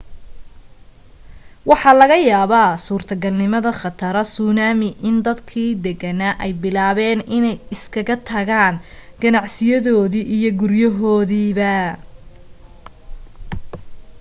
waxaa laga yaabaa suurtagalnimada khataro suunaami, in dadkii deganaa ay bilaabeen inay ka iskaga tagaan ganaciyadoodii iyo guryahoodiiba